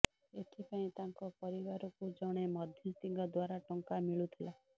ଏଥିପାଇଁ ତାଙ୍କ ପରିବାରକୁ ଜଣେ ମଧ୍ୟସ୍ଥିଙ୍କ ଦ୍ବାରା ଟଙ୍କା ମିଳୁଥିଲା